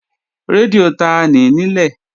Rédíò tanì í nílẹ̀?